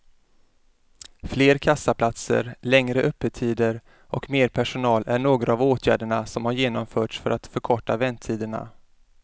Fler kassaplatser, längre öppettider och mer personal är några av åtgärderna som har genomförts för att förkorta väntetiderna.